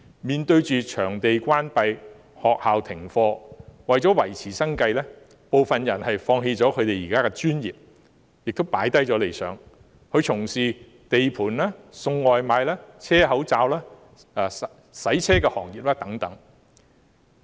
面對場地關閉和學校停課，為了維持生計，當中部分人現時甚至要放棄自己的專業，放下理想，轉為從事地盤、送外賣、車口罩或洗車業等。